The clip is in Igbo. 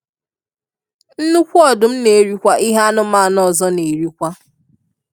Nnukwu Odụm na erikwa ihe anụmanụ ọzọ nerikwa.